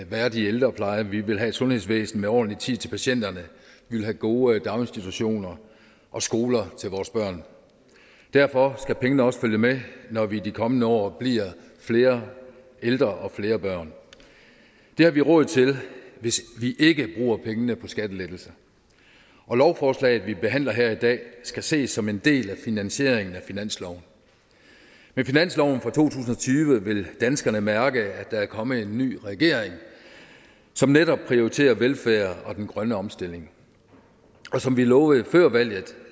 værdig ældrepleje vi vil have et sundhedsvæsen med ordentlig tid til patienterne vi vil have gode daginstitutioner og skoler til vores børn derfor skal pengene også følge med når vi i de kommende år bliver flere ældre og flere børn det har vi råd til hvis vi ikke bruger pengene på skattelettelser og lovforslaget vi behandler her i dag skal ses som en del af finansieringen af finansloven med finansloven for to tusind og tyve vil danskerne mærke at der er kommet en ny regering som netop prioriterer velfærd og den grønne omstilling og som vi lovede før valget